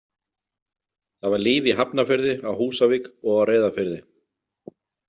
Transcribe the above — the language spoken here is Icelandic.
Það var líf í Hafnarfirði, á Húsavík og á Reyðarfirði.